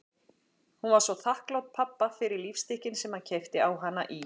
Hún var svo þakklát pabba fyrir lífstykkin sem hann keypti á hana í